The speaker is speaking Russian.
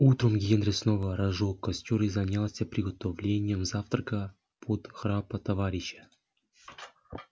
утром генри снова разжёг костёр и занялся приготовлением завтрака под храп товарища